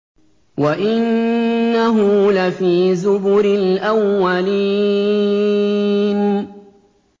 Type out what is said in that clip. وَإِنَّهُ لَفِي زُبُرِ الْأَوَّلِينَ